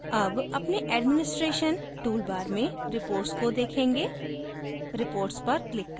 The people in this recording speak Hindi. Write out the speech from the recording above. आखिर में अब अपने administration toolbar में reports को देखेंगे